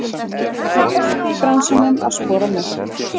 Hann er sá besti í bransanum að skora mörk.